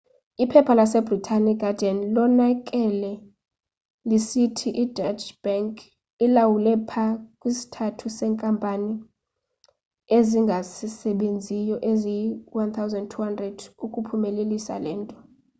iphepha lasebritane iguardian linonakale lisithi ideutsche bank ilawule pha kwi sthathu seenkampani ezingasebenziyo eziyi 1200 ukuphumelelisa lento